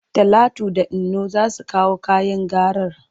Talatu da Inno za su kawo kayan garar.